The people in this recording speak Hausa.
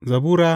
Zabura Sura